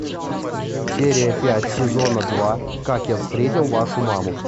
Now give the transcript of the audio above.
серия пять сезона два как я встретил вашу маму